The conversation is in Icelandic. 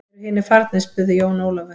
Eru hinir farnir spurði Jón Ólafur.